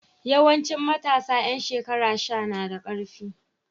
Yawanci matasa ƴan shekara sha na da ƙarfi.